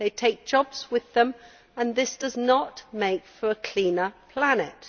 They take jobs with them, and this does not make for a cleaner planet.